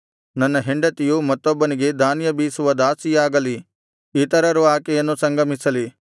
ನನ್ನ ಹೆಂಡತಿಯು ಮತ್ತೊಬ್ಬನಿಗೆ ಧಾನ್ಯ ಬೀಸುವ ದಾಸಿಯಾಗಲಿ ಇತರರು ಆಕೆಯನ್ನು ಸಂಗಮಿಸಲಿ